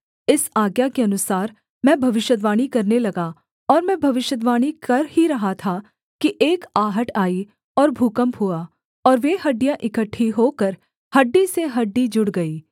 इस आज्ञा के अनुसार मैं भविष्यद्वाणी करने लगा और मैं भविष्यद्वाणी कर ही रहा था कि एक आहट आई और भूकम्प हुआ और वे हड्डियाँ इकट्ठी होकर हड्डी से हड्डी जुड़ गई